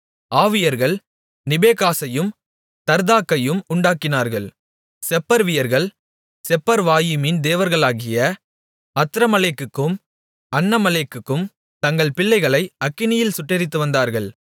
ஆவியர்கள் நிபேகாசையும் தர்தாக்கையும் உண்டாக்கினார்கள் செப்பர்வியர்கள் செப்பர்வாயிமின் தேவர்களாகிய அத்ரமலேக்குக்கும் அன்னமலேக்குக்கும் தங்கள் பிள்ளைகளை அக்கினியில் சுட்டெரித்து வந்தார்கள்